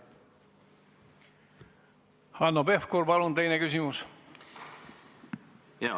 Hanno Pevkur, palun teine küsimus!